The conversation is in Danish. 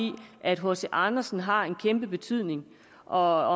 at hc andersen har en kæmpe betydning og